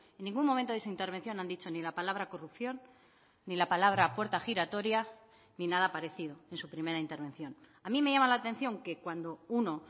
en ningún momento de su intervención han dicho ni la palabra corrupción ni la palabra puerta giratoria ni nada parecido en su primera intervención a mí me llama la atención que cuando uno